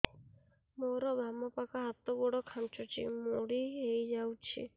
ମୋର ବାମ ପାଖ ହାତ ଗୋଡ ଖାଁଚୁଛି ମୁଡି ହେଇ ଯାଉଛି